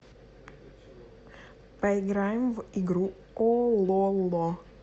поиграем в игру ололо